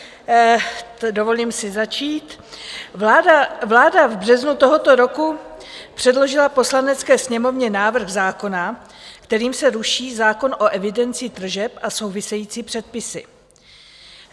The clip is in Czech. Vláda v březnu tohoto roku předložila Poslanecké sněmovně návrh zákona, kterým se ruší zákon o evidenci tržeb a související předpisy.